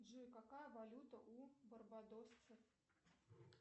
джой какая валюта у барбадосцев